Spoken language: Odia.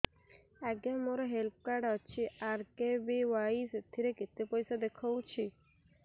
ଆଜ୍ଞା ମୋର ହେଲ୍ଥ କାର୍ଡ ଅଛି ଆର୍.କେ.ବି.ୱାଇ ସେଥିରେ କେତେ ପଇସା ଦେଖଉଛି